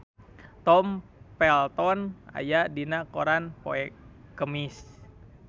Tom Felton aya dina koran poe Kemis